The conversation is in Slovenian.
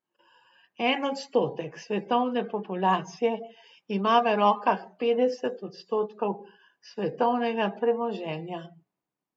En odstotek svetovne populacije ima v rokah petdeset odstotkov svetovnega premoženja.